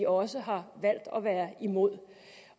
også har valgt at være imod